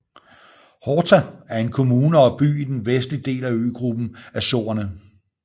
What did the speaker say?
Horta er en kommune og by i den vestlige del af øgruppen Azorerne